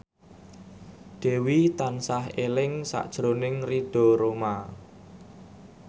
Dewi tansah eling sakjroning Ridho Roma